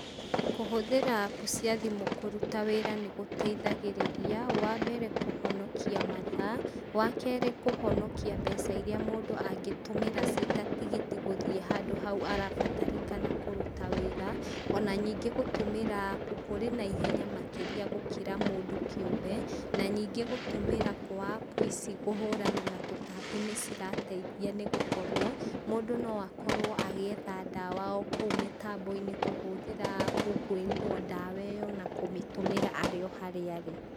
Kũhũthĩra app cia thimũ kũrũta wĩra nĩ gũteithagĩrĩria, wambere kũhonokia mathaa, wakerĩ kũhonokia mbeca iria mũndũ angĩtũmĩra cita tigiti gũthiĩ handũ haũ arabatarĩkana kũrũta wĩra, ona ningĩ gũtũmĩra app kũrĩ na ihenya makĩria gũkĩra mũndũ kĩũmbe na ningĩ gũtũmĩra kwa app ici kũhurana na tũtambi nĩcirateithia nĩ gũkorwo, mũndũ noakorwo agĩetha ndawa okũu mitambo-inĩ kũhũthĩra app kwĩrĩrwo ndawa iyo na kũmĩtũmĩra arĩ harĩa arĩ.